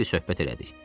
Xeyli söhbət elədik.